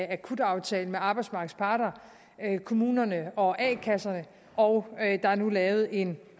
akutaftale med arbejdsmarkedets parter kommunerne og a kasserne og der er nu lavet en